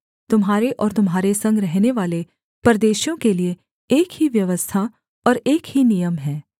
तुम्हारे और तुम्हारे संग रहनेवाले परदेशियों के लिये एक ही व्यवस्था और एक ही नियम है